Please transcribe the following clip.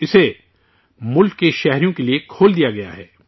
اسے، ملک کے شہریوں کے لیے کھول دیا گیا ہے